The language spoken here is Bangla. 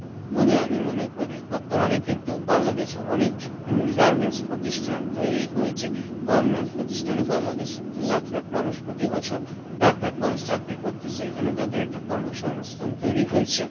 বলে আমি মনে করি, বর্তমানে কিন্তু বাংলাদেশে অনেক উম garments প্রতিষ্ঠান তৈরি হয়েছে, garments প্রতিষ্ঠানে বাংলাদেশি কতো লাখ লাখ মানুষ প্রতি বছর লাখ লাখ মানুষ চাকরি করতেছে, এখানে তাদের একটা কর্মসংস্থান তৈরি হইছে।